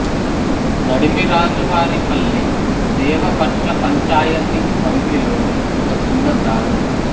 నడిమిరాజువారి పల్లి దేవపట్ల పంచాయతి పరిధిలోని ఒక చిన్న గ్రామం